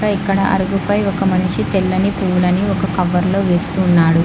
ఇక్కడ అరగుపై ఒక మనిషి తెల్లని పూలని ఒక కవర్లో వేస్తున్నాడు.